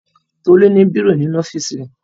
Tolú ní bírò nínú ọ́fíísì rẹ̀.